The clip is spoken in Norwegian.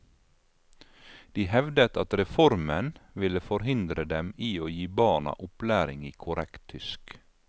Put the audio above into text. De hevdet at reformen ville forhindre dem i å gi barna opplæring i korrekt tysk.